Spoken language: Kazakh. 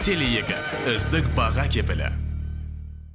теле екі үздік баға кепілі